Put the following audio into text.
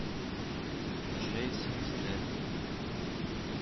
джейсон стэтхэм